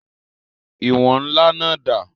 Ìwọ̀n ńlá náà dà?